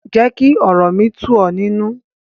Jẹ́ kí ọ̀rọ̀ mi tú ọ̀ nínu.